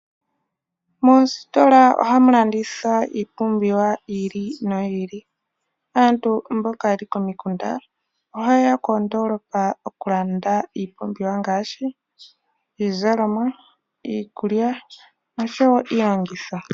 Moositola ohamu landithwa iipumbiwa yi ili noyi ili. Aantu mboka ye li komikunda ohaye ya koondoolopa okulanda iipumbiwa ngaashi iizalomwa, iikulya noshowo iilongitho.